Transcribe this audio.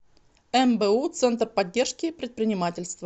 мбу центр поддержки предпринимательства